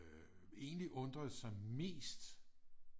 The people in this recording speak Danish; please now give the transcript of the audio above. Egentlig undrede sig mest